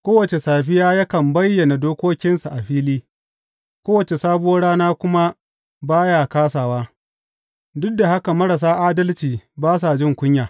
Kowace safiya yakan bayyana dokokinsa a fili, kowace sabuwar rana kuma ba ya kāsawa, duk da haka marasa adalci ba sa jin kunya.